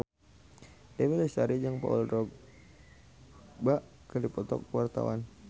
Dewi Lestari jeung Paul Dogba keur dipoto ku wartawan